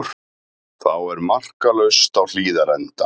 Þá er markalaust á Hlíðarenda